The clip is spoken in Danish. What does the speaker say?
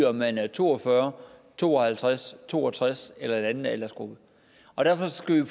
om man er to og fyrre år to og halvtreds år to og tres år eller i en anden aldersgruppe derfor skal